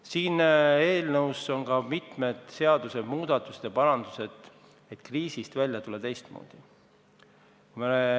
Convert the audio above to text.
Selles eelnõus on ka mitmed seadusmuudatused ja parandused, et kriisist teistmoodi välja tulla.